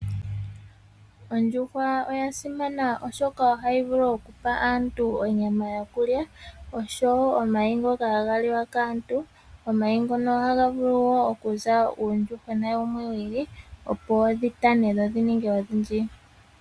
Ondjuhwa oya simana oshoka ohayi vulu okupa aantu onyama yo ku lya, oshowo omayi ngoka haga liwa kaantu. Omayi ngono ohaga vulu wo okuza uuyuhwena wumwe wi ili, opo dhi tane dho dhi ninge odhindji.